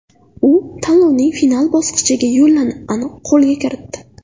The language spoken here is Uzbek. U tanlovning final bosqichiga yo‘llanmani qo‘lga kiritdi.